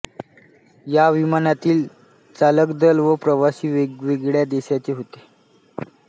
या विमानातील चालकदल व प्रवासी वेगवेगळ्या देशांचे होते